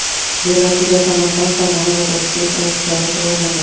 Bellashuvda Samarqand, Farg‘ona va Toshkent oshlari tayyorlandi.